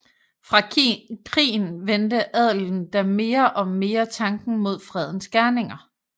Fra krigen vendte adelen da mere og mere tanken mod fredens gerninger